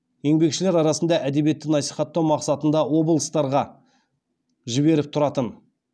еңбекшілер арасында әдебиетті насихаттау мақсатында облыстарға жіберіп тұратын